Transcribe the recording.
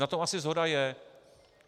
Na tom asi shoda je.